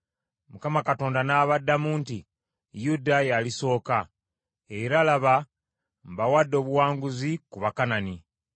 Mukama Katonda n’abaddamu nti Yuda yalisooka, era laba mbawadde obuwanguzi ku Bakanani.